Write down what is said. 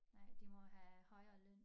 Nej de må have højere løn